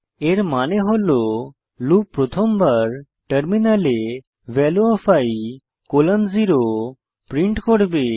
এর মানে হল লুপ প্রথমবার টার্মিনালে ভ্যালিউ ওএফ i 0 প্রিন্ট করবে